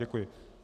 Děkuji.